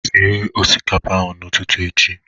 Sie osikapa n'ụtụtụ echi!